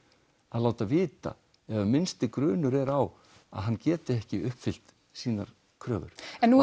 að láta vita ef grunur er á að hann geti ekki uppfyllt sínar kröfur